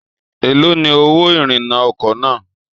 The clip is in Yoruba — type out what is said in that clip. Èló ni owó ìrìnnà ọkọ̀ náà?